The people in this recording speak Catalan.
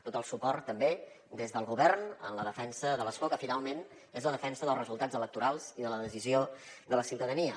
tot el suport també des del govern en la defensa de l’escó que finalment és la defensa dels resultats electorals i de la decisió de la ciutadania